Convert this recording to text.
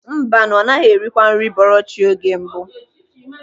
Mbanụ, ọ naghị erikawa nri bọrọ chi oge mbụ.